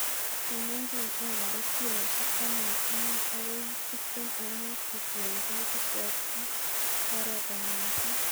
Pimonjin ekarit kilosiek taman oeng akoi tiptem ak mut kotiengei keswot ak oretab minset.